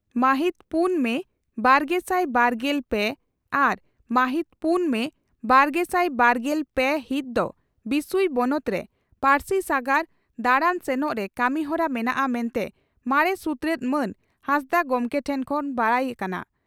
ᱢᱟᱦᱤᱛ ᱯᱩᱱ ᱢᱮ ᱵᱟᱨᱜᱮᱥᱟᱭ ᱵᱟᱨᱜᱮᱞ ᱯᱮ ᱟᱨ ᱢᱟᱦᱤᱛ ᱯᱩᱱ ᱢᱮ ᱵᱟᱨᱜᱮᱥᱟᱭ ᱵᱟᱨᱜᱮᱞ ᱯᱮ ᱦᱤᱛ ᱫᱚ ᱵᱤᱥᱩᱭ ᱵᱚᱱᱚᱛ ᱨᱮ ᱯᱟᱹᱨᱥᱤ ᱥᱟᱜᱟᱲ ᱰᱟᱬᱟᱱ ᱥᱨᱮᱱᱟᱜ ᱠᱟᱹᱢᱤᱦᱚᱨᱟ ᱢᱮᱱᱟᱜᱼᱟ ᱢᱮᱱᱛᱮ ᱢᱟᱬᱛᱮ ᱥᱩᱛᱨᱮᱛ ᱢᱟᱱ ᱦᱟᱸᱥᱫᱟᱜ ᱜᱚᱢᱠᱮ ᱴᱷᱮᱱ ᱠᱷᱚᱱ ᱵᱟᱰᱟᱭ ᱟᱠᱟᱱᱟ ᱾